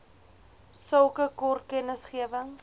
sulke kort kennisgewing